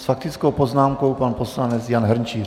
S faktickou poznámkou pan poslanec Jan Hrnčíř.